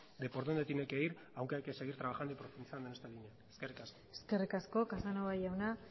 de por dónde tiene que ir aunque hay que seguir trabajando y profundizando en esta línea eskerrik asko eskerrik asko casanova jauna